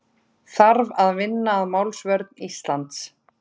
Þarf að vinna að málsvörn Íslands